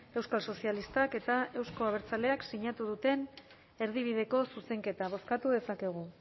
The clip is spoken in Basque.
euskal sozialistak eta euzko abertzaleak sinatu duten erdibideko zuzenketa bozkatu dezakegu